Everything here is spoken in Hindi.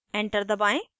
enter दबाएं